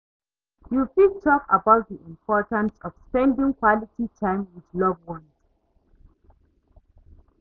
You fit talk about di importance of spending quality time with loved ones?